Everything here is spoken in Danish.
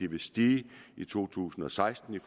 vil stige i to tusind og seksten